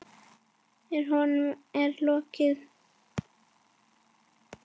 En honum er ekki lokið.